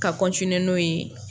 Ka n'o ye.